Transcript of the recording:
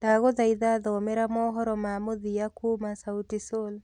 ndagũthaitha thomera mohoro ma mũthia kũũma sauti sol